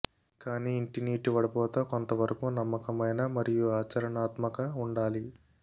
కానీ ఇంటి నీటి వడపోత కొంతవరకు నమ్మకమైన మరియు ఆచరణాత్మక ఉండాలి